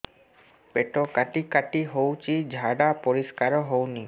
ପେଟ କାଟି କାଟି ହଉଚି ଝାଡା ପରିସ୍କାର ହଉନି